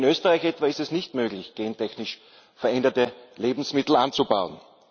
Denn in Österreich etwa ist es nicht möglich, gentechnisch veränderte Lebensmittel anzubauen.